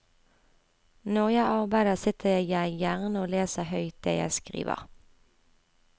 Når jeg arbeider, sitter jeg gjerne og leser høyt det jeg skriver.